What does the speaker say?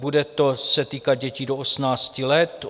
Bude se to týkat dětí do 18 let.